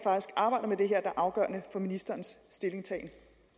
er afgørende for ministerens stillingtagen